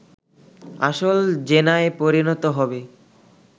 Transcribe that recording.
আসল জেনায় পরিণত হবে